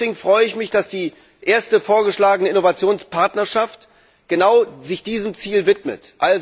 Deswegen freue ich mich, dass sich die erste vorgeschlagene Innovationspartnerschaft genau diesem Ziel widmet.